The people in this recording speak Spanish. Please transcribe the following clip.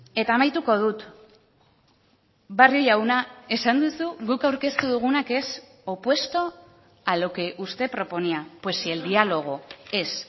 eta amaituko dut barrio jauna esan duzu guk aurkeztu duguna que es opuesto a lo que usted proponía pues si el diálogo es